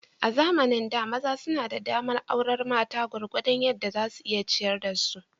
A zamanin da, maza suna da damar aurar mata gwargwadon yadda za su iya ciyar da su.